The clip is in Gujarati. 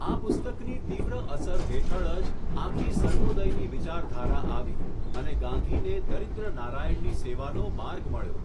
આ પુસ્તકની તીવ્ર અસર હેઠળજ, આખી સર્વોદયની વિચારધારા આવી, અને ગાંધીને દરિદ્ર નારાયણ ની સેવાનો માર્ગ મળ્યો.